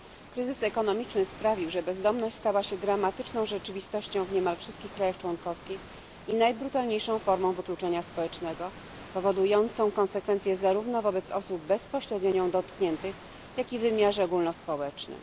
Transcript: Kryzys ekonomiczny sprawił, że bezdomność stała się dramatyczną rzeczywistością w niemal wszystkich państwach członkowskich i najbrutalniejszą formą wykluczenia społecznego, powodującą konsekwencje zarówno wobec osób bezpośrednio nią dotkniętych, jak i w wymiarze ogólnospołecznym.